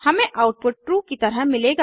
हमें output true की तरह मिलेगा